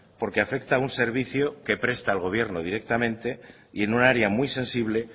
porque afecta a un servicio que presta al gobierno directamente y en un área muy sensible